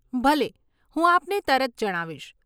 ભલે, હું આપને તરત જણાવીશ.